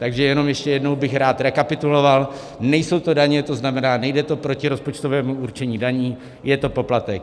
Takže jenom ještě jednou bych rád rekapituloval: Nejsou to daně, to znamená, nejde to proti rozpočtovému určení daní, je to poplatek.